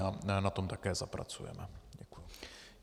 Ale na tom také zapracujeme.